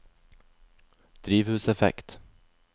drivhuseffekt